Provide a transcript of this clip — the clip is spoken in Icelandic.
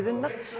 unnar